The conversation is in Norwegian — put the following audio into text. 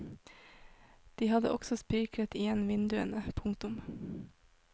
De hadde også spikret igjen vinduene. punktum